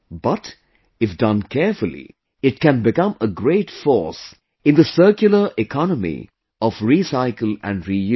But, if done carefully, it can become a great force in the Circular Economy of Recycle and Reuse